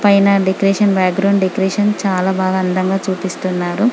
పైన decoration background decoration బాగా అందంగా చూపిస్తున్నారు.